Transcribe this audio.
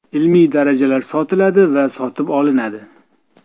Ilmiy darajalar sotiladi va sotib olinadi.